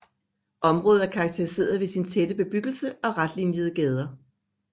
Området er karakteriseret ved sin tætte bebyggelse og retlinjede gader